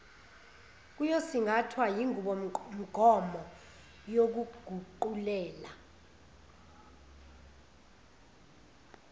kuyosingathwa yinqubomgomo yokuguqulela